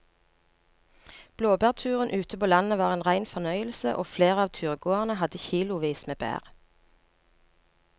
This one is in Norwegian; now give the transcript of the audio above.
Blåbærturen ute på landet var en rein fornøyelse og flere av turgåerene hadde kilosvis med bær.